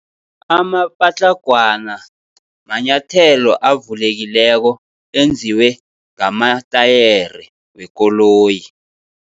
Amapatlagwana manyathelo avulekileko, enziwe ngamatayere wekoloyi.